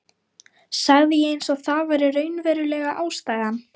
sagði ég eins og það væri raunverulega ástæðan.